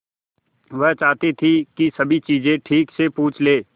वह चाहती थी कि सभी चीजें ठीक से पूछ ले